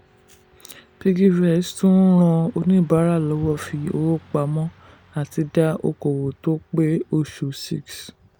piggyvest tún ń ran oníbàárà lọ́wọ́ fi owó pamọ́ àti dá okoòwò tó pé oṣù 6.